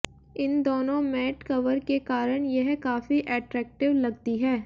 इन दोनों mat cover के कारण यह काफी एट्रैक्टिव लगती है